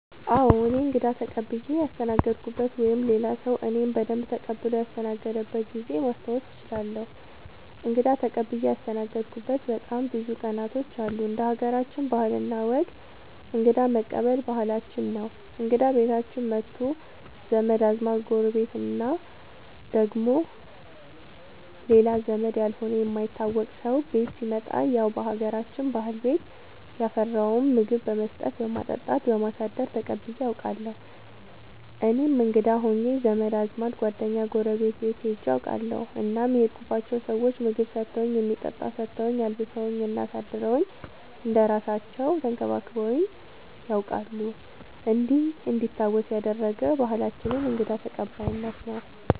አዎ እኔ እንግዳ ተቀብየ ያስተናገድኩበት ወይም ሌላ ሰዉ እኔን በደንብ ተቀብሎ ያስተናገደበት ጊዜ ማስታወስ እችላለሁ። እንግዳ ተቀብዬ ያስተናገድሁበት በጣም ብዙ ቀናቶች አሉ እንደ ሀገራችን ባህል እና ወግ እንግዳ መቀበል ባህላችን ነው እንግዳ ቤታችን መቶ ዘመድ አዝማድ ጎረቤት እና ደግሞ ሌላ ዘመድ ያልሆነ የማይታወቅ ሰው ቤት ሲመጣ ያው በሀገራችን ባህል ቤት ያፈራውን ምግብ በመስጠት በማጠጣት በማሳደር ተቀብዬ አውቃለሁ። እኔም እንግዳ ሆኜ ዘመድ አዝማድ ጓደኛ ጎረቤት ቤት ሄጄ አውቃለሁ እናም የሄድኩባቸው ሰዎች ምግብ ሰተውኝ የሚጠጣ ሰተውኝ አልብሰውኝ እና አሳድረውኝ እንደ እራሳለው ተንከባክበውኝ ነያውቃሉ እንዲህ እንዲታወስ ያደረገ ባህላችንን እንግዳ ተቀባይነት ነው።